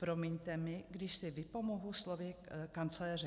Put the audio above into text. Promiňte mi, když si vypomohu slovy kancléře